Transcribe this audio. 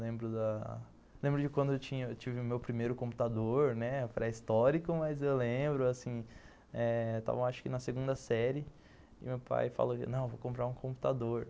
Lembro da lembro de quando eu tive tive o meu primeiro computador pré-histórico, mas eu lembro, assim eh, estava acho que na segunda série, e meu pai falou, não eu vou comprar um computador.